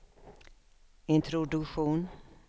introduktion